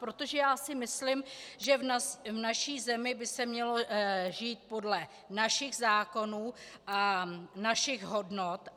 Protože já si myslím, že v naší zemi by se mělo žít podle našich zákonů a našich hodnot.